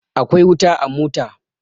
Akwai wuta a mota.